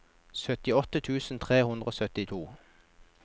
syttiåtte tusen tre hundre og syttito